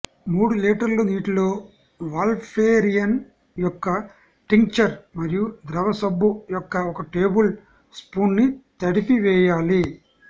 మూడు లీటర్ల నీటిలో వాల్పేరియన్ యొక్క టింక్చర్ మరియు ద్రవ సబ్బు యొక్క ఒక టేబుల్ స్పూప్ను తడిపివేయాలి